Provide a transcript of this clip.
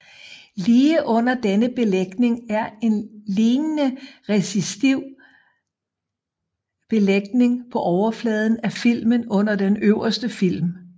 Lige under denne belægning er en lignende resistiv belægning på overfladen af filmen under den øverste film